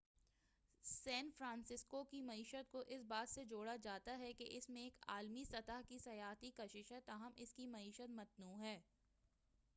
سین Francisco کی معیشت کو اس بات سے جوڑا جاتا ہے کہ اس میں ایک عالمی سطح کی سیاحتی کشش ہے تاہم اس کی معیشت متنوع ہے